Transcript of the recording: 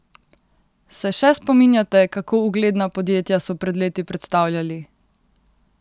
Se še spominjate, kako ugledna podjetja so pred leti predstavljali?